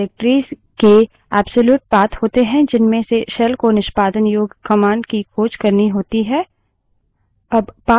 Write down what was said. path path variable में निर्देशिकाओं directories के एब्सोल्यूट path होते है जिनमें से shell को निष्पादन योग्य command की खोज करनी होती है